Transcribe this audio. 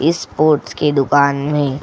इस स्पोर्ट्स की दुकान में --